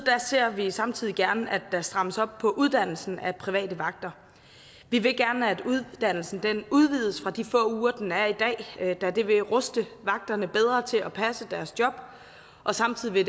ser vi samtidig gerne at der strammes op på uddannelsen af private vagter vi vil gerne at uddannelsen udvides fra de få uger den er i dag da det vil ruste vagterne bedre til at passe deres job og samtidig